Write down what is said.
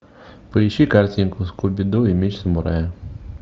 поищи картинку скуби ду и меч самурая